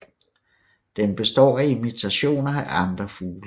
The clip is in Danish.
Den består af imitationer af andre fugle